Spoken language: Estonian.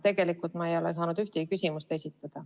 Tegelikult ma ei ole saanud ühtegi küsimust esitada.